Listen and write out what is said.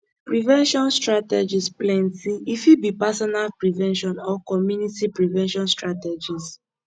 prevention strategies plenty e fit be personal prevention or community prevention strategies